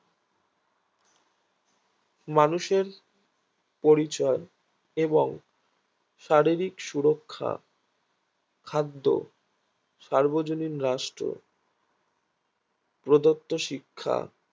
মানুষের পরিচয় এবং শারীরিক সুরক্ষা খাদ্য সার্বজনীন রাষ্ট্র প্রদত্ত শিক্ষা